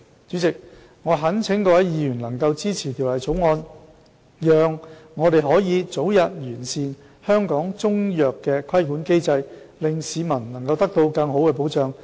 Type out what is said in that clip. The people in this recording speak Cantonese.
主席，我懇請各位議員能支持《條例草案》，讓我們可以早日完善香港中藥的規管機制，令市民能得到更好的保障。